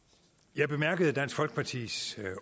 jeg bemærkede hvad dansk folkepartis